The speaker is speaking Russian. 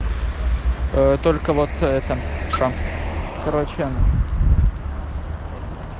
только вот это все короче